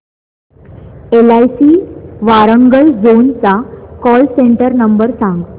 LIC Warangal zone चा call centre number सांग